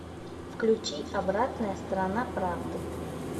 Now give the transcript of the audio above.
включи обратная сторона правды